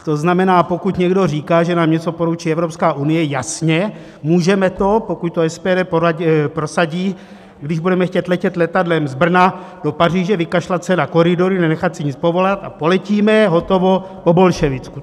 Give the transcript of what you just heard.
To znamená, pokud někdo říká, že nám něco poručí Evropská unie, jasně, můžeme to, pokud to SPD prosadí, když budeme chtít letět letadlem z Brna do Paříže, vykašlat se na koridory, nenechat si nic povolat a poletíme, hotovo, po bolševicku.